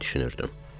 deyə düşünürdüm.